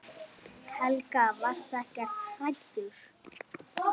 Helga: Varstu ekkert hræddur?